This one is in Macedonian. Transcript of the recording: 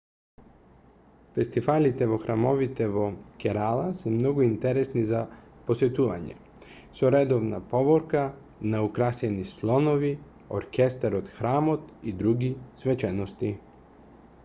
фестивалите во храмовите во керала се многу интересни за посетување со редовна поворка на украсени слонови оркестар од храмот и други свечености